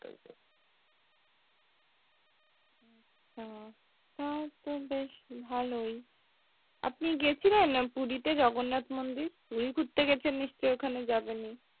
ও তাও তো বেশ ভালোই, আপনি গেছিলেন পুরিতে জগন্নাথ মন্দির? পুরি ঘুরতে গেছেন নিশ্চয়ই ওখানে যাবেনই।